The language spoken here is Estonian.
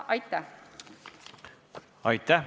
Aitäh!